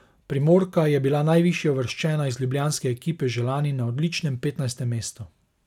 Primorka je bila najvišje uvrščena iz ljubljanske ekipe že lani na odličnem petnajstem mestu.